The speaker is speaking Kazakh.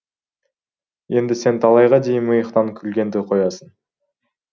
енді сен талайға дейін миықтан күлгенді қоясың